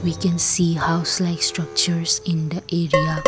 we can see house like structures in the area.